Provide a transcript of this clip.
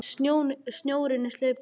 Snjórinn er sleipur!